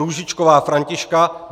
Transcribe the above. Růžičková Františka